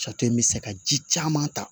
Sato in bɛ se ka ji caman ta